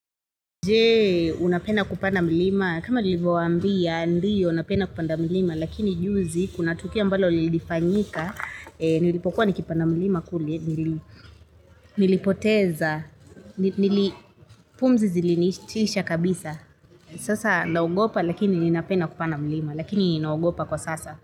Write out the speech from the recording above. Je unapenda kupanda mlima, kama nilivowambia, ndiyo napenda kupanda mlima, lakini juzi, kuna tukio ambalo lilifanyika, nilipokuwa nikipanda mlima kuli, nilipoteza, pumzi zilinitisha kabisa. Sasa naugopa lakini ninapenda kupanda mlima, lakini naugopa kwa sasa.